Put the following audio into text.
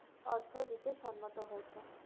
অর্থ দিতে সম্মত হয়েছেন।